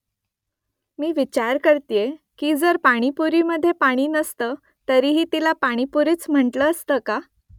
मी विचार करतीये की जर पाणीपुरीमध्ये पाणी नसतं तरीही तिला पाणीपुरीच म्हटलं असतं का ?